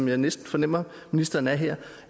jeg næsten fornemmer ministeren er her